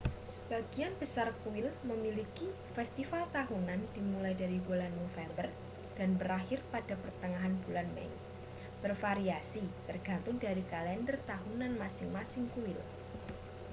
sebagian besar kuil memiliki festival tahunan dimulai dari bulan november dan berakhir pada pertengahan bulan mei bervariasi tergantung dari kalender tahunan masing-masing kuil